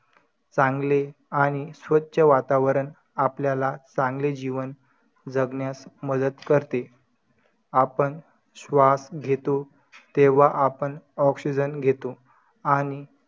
काय असते ना ते आजून काय माहिती नाय कोणाला.